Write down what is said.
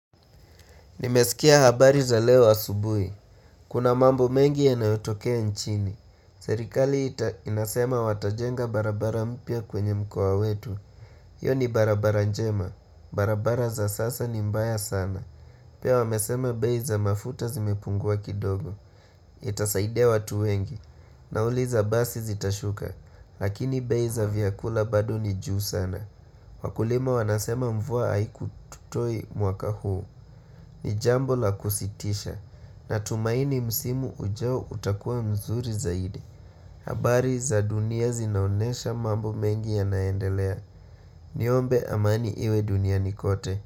Nimesikia habari za leo asubui. Kuna mamboul mengi yanayotokea nchini. Serikali ita inasema watajenga barabara mpya kwenye mkoa wetu. Iyo ni barabara njema. Barabara za sasa ni mbaya sana. Pia wamesema bei za mafuta zimepungua kidogo. Itasaidia watu wengi. Nauli za basi zitashuka. Lakini bei za vyakula bado ni juu sana. Wakulima wanasema mvua haiku tutoi mwaka huu. Ni jambo la kusitisha. Natumaini msimu ujao utakua mzuri zaidi. Habari za dunia zinaonesha mambo mengi yanaendelea. Niombe amani iwe duniani kote.